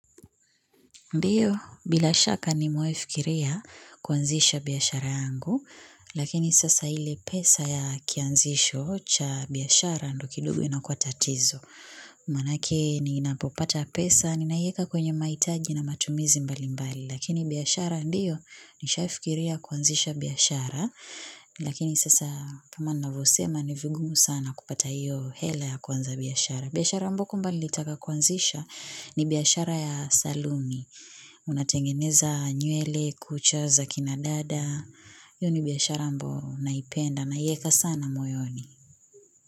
Ndio, bila shaka nimewahi fikiria kuanzisha biashara yangu, lakini sasa ile pesa ya kianzisho cha biashara ndio kidogo ina kua tatizo. Manake ni napopata pesa, ninaweka kwenye mahitaji na matumizi mbali mbali, lakini biashara ndio nishai fikiria kuanzisha biashara, lakini sasa kama navyosema ni vigumu sana kupata iyo hela ya kuanza biyashara. Biashara ambayo kwamba nilitaka kuanzisha ni biashara ya saluni. Unatengeneza nywele, kucha za, kina dada. Hiyo ni biashara ambayo naipenda naiweka sana moyoni.